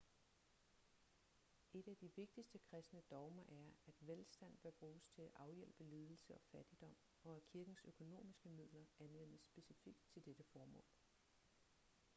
et af de vigtigste kristne dogmer er at velstand bør bruges til at afhjælpe lidelse og fattigdom og at kirkens økonomiske midler anvendes specifikt til dette formål